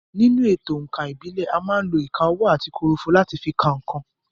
Nínú èto òǹkà ìbílẹ̀, à má ń lo ìka ọwọ́ àti kòròfo láti fi ka nǹkan.